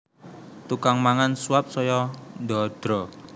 Tukang mangan suap saya ndadra